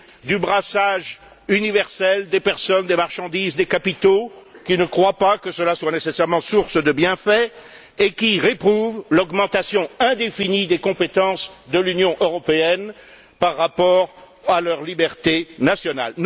du brassage universel des personnes, des marchandises, des capitaux, qui ne croient pas que cela soit nécessairement source de bienfaits et qui réprouvent l'augmentation indéfinie des compétences de l'Union européenne par rapport à leur liberté nationale.